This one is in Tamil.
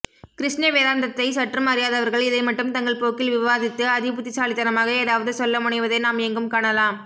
கிருஷ்ணவேதாந்த்ததை சற்றும் அறியாதவர்கள் இதை மட்டும் தங்கள் போக்கில் விவாதித்து அதிபுத்திசாலித்தனமாக ஏதாவது சொல்ல முனைவதை நாம் எங்கும் காணலாம்